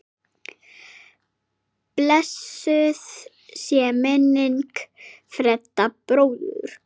Blessuð sé minning Fredda bróður.